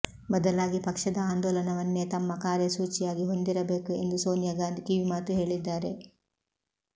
ಬದಲಾಗಿ ಪಕ್ಷದ ಆಂದೋಲನವನ್ನೇ ತಮ್ಮ ಕಾರ್ಯಸೂಚಿಯಾಗಿ ಹೊಂದಿರಬೇಕು ಎಂದು ಸೋನಿಯಾ ಗಾಂಧಿ ಕಿವಿಮಾತು ಹೇಳಿದ್ದಾರೆ